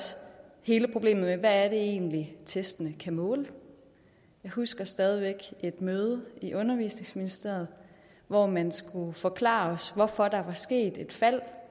hele problemet med hvad det egentlig er testene kan måle jeg husker stadig væk et møde i undervisningsministeriet hvor man skulle forklare os hvorfor der var sket et fald